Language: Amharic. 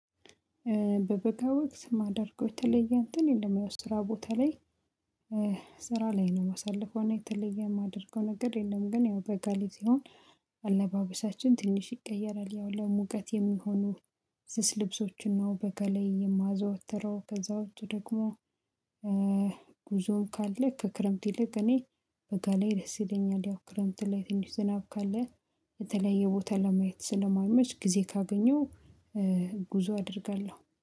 በበቃ ወቅት ማደርገው የተለየ እንትን የለም ያው ስራ ቦታ ላይ ስራ ላይ ነው ማሳልፈው እና የተለየ የማደርገው ነገር የለም። ግን ያው በጋ ላይ ሲሆን አለባበሳችን ትንሽ ይቀየራል። ያው ለሙቀት የሚሆኑ ስስ ልብሶችና በጋ ላይ የማዘወትረው ከዛ ውጪ ደግሞ። ጉዞም ካለ ከክረምት ይልቅ እኔ በጋ ላይ ደስ ይለኛል። ያው ክረምት ላይ ትንሽ ዝናብ ካለ በተለይ የቦታ ለማየት ስለማመች ጊዜ ካገኘው። ጉዞ አደርጋለሁ